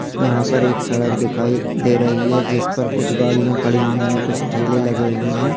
यहाँ पर एक सड़क दिखाई दे रही है जिस पर कुछ गाड़ियाँ खड़ी हुई हैं कुछ ठेले लगे हुए हैं।